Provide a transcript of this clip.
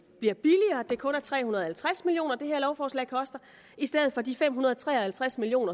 bliver billigere altså at det kun er tre hundrede og halvtreds million kr det her lovforslag koster i stedet for de fem hundrede og tre og halvtreds million